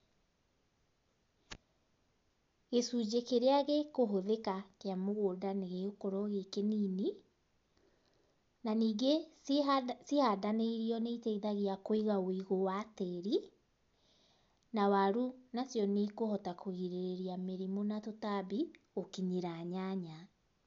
Gĩcunjĩ kĩrĩa gĩkũhũthĩka kĩa mũgũnda nĩgĩgũkorwo gĩ kĩnini, na ningĩ cihanda cihandanĩirio nĩiteithagia kũiga wũigũ wa tĩri, na waru nacio nĩikuhota kũgirĩrĩria mĩrimu na tũtabi gũkinyĩra nyanya.